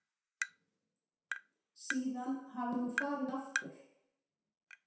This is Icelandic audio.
Síðan hafi hún farið aftur.